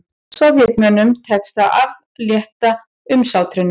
Sovétmönnum tekst að aflétta umsátrinu